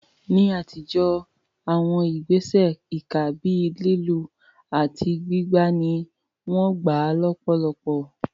Ní àtijọ́, àwọn ìgbésẹ̀ ìkà bíi lílù àti gbígbá ni wọ́n gbà lọ́pọ̀lọpọ̀.